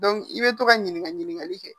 i bɛ to ka ɲininka ɲininkali kɛ